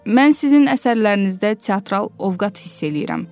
Mən sizin əsərlərinizdə teatral ovqat hiss eləyirəm.